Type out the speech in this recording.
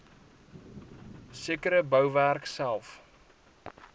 sekere bouwerk self